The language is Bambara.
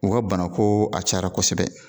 U ka bana ko a cayara kosɛbɛ